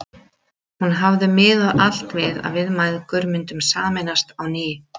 Hún hafði miðað allt við að við mæðgur myndum sameinast á ný.